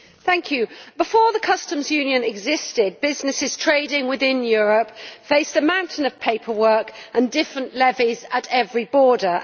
Madam President, before the customs union existed, businesses trading within Europe faced a mountain of paperwork and different levies at every border.